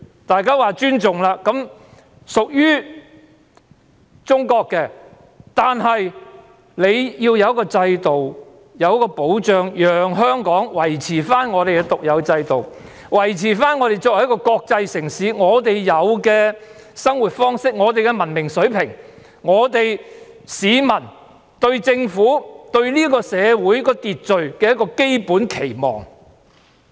大家尊重中國的主權，而中國必須讓香港維持獨有的制度，維持我們作為國際城市的生活方式、文明水平、市民對政府和社會秩序的基本期望。